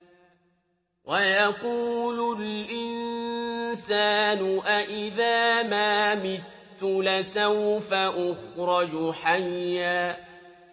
وَيَقُولُ الْإِنسَانُ أَإِذَا مَا مِتُّ لَسَوْفَ أُخْرَجُ حَيًّا